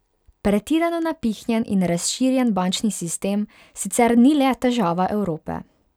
Pretirano napihnjen in razširjen bančni sistem sicer ni le težava Evrope.